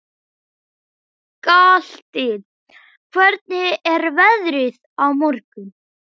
Galti, hvernig er veðrið á morgun?